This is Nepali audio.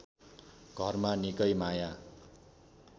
घरमा निकै माया